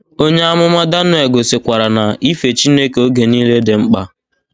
Onye amụma Daniel gosikwara na ife Chineke oge niile dị mkpa.